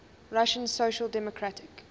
russian social democratic